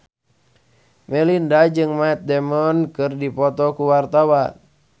Melinda jeung Matt Damon keur dipoto ku wartawan